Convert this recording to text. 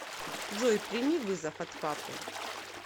джой прими вызов от папы